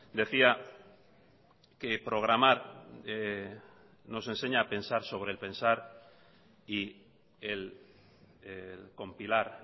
decía que programar nos enseña a pensar sobre el pensar y el compilar